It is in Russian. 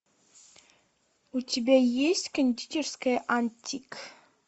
у тебя есть кондитерская антик